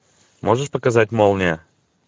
можешь показать молния